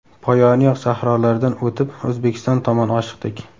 Poyoni yo‘q sahrolardan o‘tib, O‘zbekiston tomon oshiqdik.